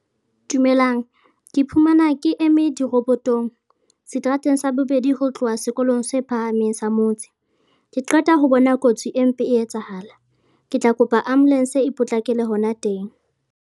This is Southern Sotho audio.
Dumelang, ke iphumana ke eme dirobotong, seterateng sa bobedi ho tloha sekolong se phahameng sa motse. Ke qeta ho bona kotsi e mpe e etsahala, ke tla kopa Ambulance e potlakele hona teng.